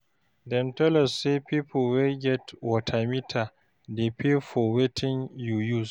Dem tell us say pipo wey get water meter dey pay for wetin you use.